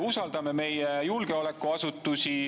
Usaldame meie julgeolekuasutusi.